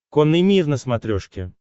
конный мир на смотрешке